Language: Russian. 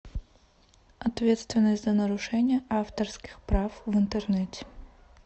ответственность за нарушение авторских прав в интернете